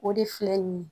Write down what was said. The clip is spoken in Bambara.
O de filɛ nin ye